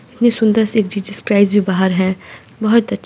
इतनी सुन्दर-सी एक जीसस क्राइस्ट जो बाहर है बहुत अच्छी --